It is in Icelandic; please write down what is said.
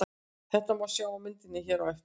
Þetta má sjá á myndinni hér á eftir.